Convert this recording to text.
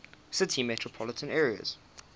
city metropolitan area